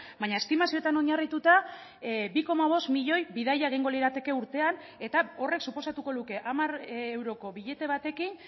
baina estimazioetan oinarrituta bi koma bost milioi bidaia egingo lirateke urtean eta horrek suposatuko luke hamar euroko billete batekin